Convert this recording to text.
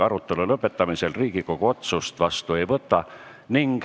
Arutelu lõpetamisel Riigikogu otsust vastu ei võta.